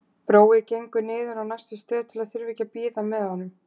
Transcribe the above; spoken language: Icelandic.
Brói gengur niður á næstu stöð til að þurfa ekki að bíða með honum.